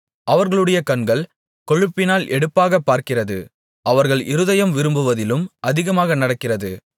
அவர்களுடைய கண்கள் கொழுப்பினால் எடுப்பாகப் பார்க்கிறது அவர்கள் இருதயம் விரும்புவதிலும் அதிகமாக நடக்கிறது